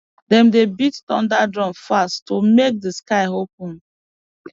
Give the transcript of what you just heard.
dem dey beat thunder drum fast to make the sky open